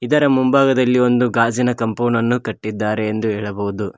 ಇದರ ಮುಂಭಾಗದಲ್ಲಿ ಒಂದು ಗಾಜಿನ ಕಾಂಪೌಂಡ ನ್ನು ಕಟ್ಟಿದ್ದಾರೆ ಎಂದು ಹೇಳಬಹುದು.